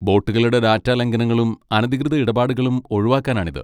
ബോട്ടുകളുടെ data ലംഘനങ്ങളും അനധികൃത ഇടപാടുകളും ഒഴിവാക്കാനാണിത്.